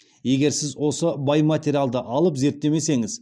егер сіз осы бай материалды алып зерттемесеңіз